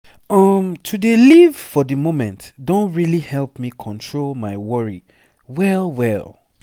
um to dey live for the moment don really help me control my worry well well.